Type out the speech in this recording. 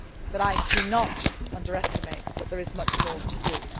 But I do not underestimate the fact that there is much more to